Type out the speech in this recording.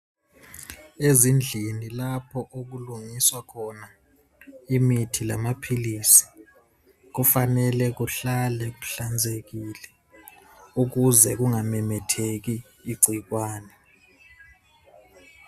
Ezindlini lapha okulungiswa khona imithi lamaphilisi kufanele kuhlale kuhlanzekile ukuze kungamemetheki igcikwane.